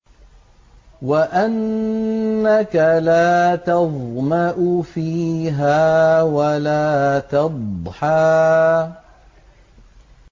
وَأَنَّكَ لَا تَظْمَأُ فِيهَا وَلَا تَضْحَىٰ